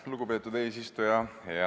Lugupeetud eesistuja!